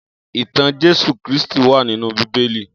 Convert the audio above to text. Itàn Jésú Kristi wà ninú Bibéli